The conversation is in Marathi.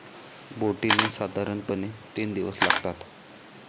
बोटीने साधारणपणे तीन दिवस लागतात.